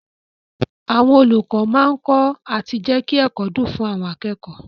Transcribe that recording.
Àwọn olùkọ́ máa kọ́ àti jẹ́kí ẹ̀kọ́ dùn fún àwọn akẹ́kọ̀ọ́.